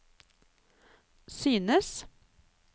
synes